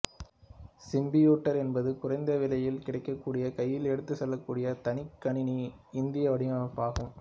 Simputer என்பது குறைந்த விலையில் கிடைக்கக்கூடிய கையில் எடுத்துச் செல்லக்கூடிய தனிக் கணினியின் இந்திய வடிவமைப்பாகும்